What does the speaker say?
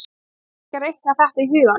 Þú ætlar kannski að reikna þetta í huganum?